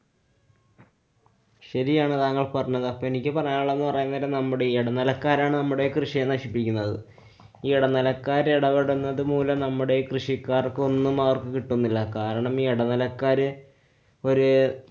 ശരിയാണ് താങ്കള്‍ പറഞ്ഞത്. അപ്പൊ എനിക്ക് പറയാനുള്ളതെന്ന് പറയാന്‍ നേരം നമ്മുടെ ഇടനിലക്കാരാണ് നമ്മുടെ കൃഷിയെ നശിപ്പിക്കുന്നത്. ഈ ഇടനിലക്കാര്‍ ഇടപെടുന്നത് മൂലം നമ്മുടെ കൃഷിക്കാര്‍ക്കൊന്നുംഅവര്‍ക്ക് കിട്ടുന്നില്ല. കാരണം ഈ ഇടനിലക്കാര് ഒര്~